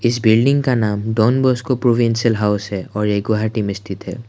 इस बिल्डिंग का नाम डॉन बॉस्को प्रोविंशियल हाउस है और ये गुवाहाटी में स्थित है।